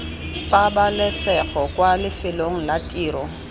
pabalesego kwa lefelong la tiro